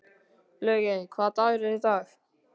Laugey, hvaða dagur er í dag?